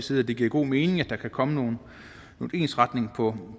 side at det giver god mening at der kan komme noget ensretning på